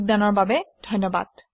যোগদানৰ বাবে ধন্যবাদ